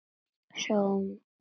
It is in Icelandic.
Sjáum vestur.